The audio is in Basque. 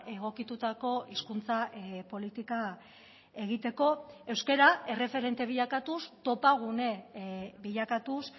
egokitutako hizkuntza politika egiteko euskara erreferente bilakatuz topagune bilakatuz